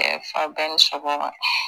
Ɛɛ fa bɛɛ ni sɔgɔma